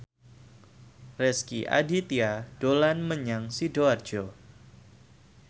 Rezky Aditya dolan menyang Sidoarjo